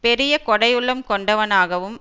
பெரிய கொடையுள்ளம் கொண்டவனாகவும்